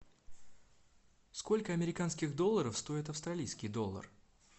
сколько американских долларов стоит австралийский доллар